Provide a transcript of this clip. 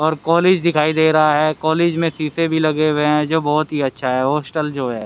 और कॉलेज दिखाई दे रहा है कॉलेज में शीशे भी लगे हुए हैं जो बहुत ही अच्छा है हॉस्टल जो ह--